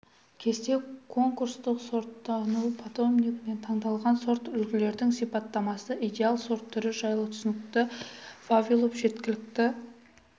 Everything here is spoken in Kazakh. кесте конкурстық сортсынау питомнигінен таңдалған сорт үлгілердің сипаттамасы идеал сорт түрі жайлы түсінікті вавилов жеткілікті